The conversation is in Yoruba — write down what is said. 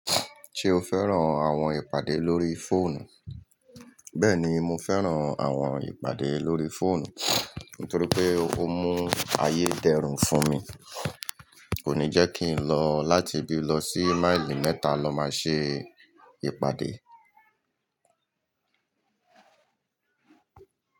Ṣe o fẹ́ràn àwọn ìpàdé lórí fóònù? Bẹ́ẹ̀ni, mo fẹ́ràn àwọn ìpàdé lórí fóònù, nítorí pé ó mú ayé dẹrùn fún mi. Kò ní jẹ́ kí n lọ láti bí lọ sí máìlì mẹ́ta lọ máa ṣe ìpàdé.